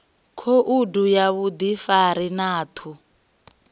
khoudu ya vhuḓifari na ṱhu